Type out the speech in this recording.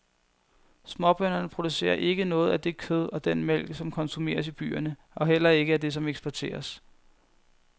Småbønderne producerer ikke noget af det kød og den mælk, som konsumeres i byerne og heller ikke af det som eksporteres.